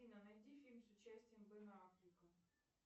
афина найди фильм с участием бена аффлека